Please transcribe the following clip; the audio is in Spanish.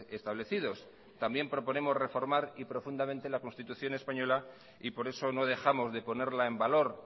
establecidos también proponemos reformar profundamente la constitución española y por eso no dejamos de ponerla en valor